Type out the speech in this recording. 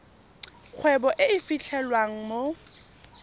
kgwebo e e fitlhelwang mo